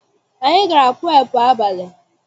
Anyị gara purepu abalị.